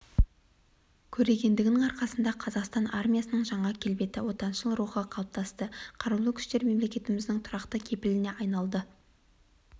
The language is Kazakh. көрегендігінің арқасында қазақстан армиясының жаңа келбеті отаншыл рухы қалыптасты қарулы күштер мемлекетіміздің тұрақты кепіліне айналды